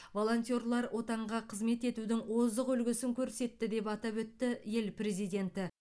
волонтерлар отанға қызмет етудің озық үлгісін көрсетті деп атап өтті ел президенті